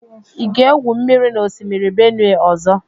Ị ga-egwu mmiri na osimiri Benue ọzọ?